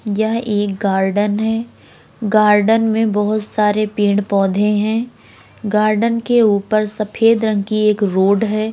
यह एक गार्डन है। गार्डन में बहोत सारे पेड़ पौधे हैं। गार्डन के ऊपर सफेद रंग की एक रोड है।